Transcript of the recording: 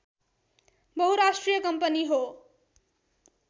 बहुराष्ट्रिय कम्पनी हो